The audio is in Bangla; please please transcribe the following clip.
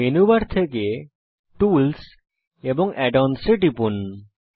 মেনু বার থেকে টুলস এবং add অন্স এ টিপুন